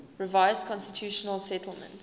revised constitutional settlement